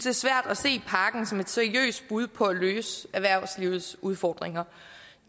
er svært at se pakken som et seriøst bud på at løse erhvervslivets udfordringer